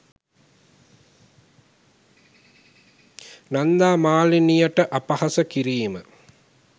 නන්දා මාලිනිය ට අපහාස කිරීම